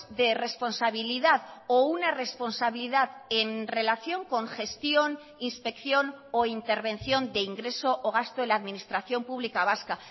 de responsabilidad o una responsabilidad en relación con gestión inspección o intervención de ingreso o gasto en la administración pública vasca